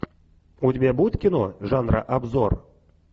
у тебя будет кино жанра обзор